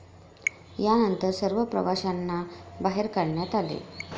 यानंतर सर्व प्रवाशांना बाहेर काढण्यात आले.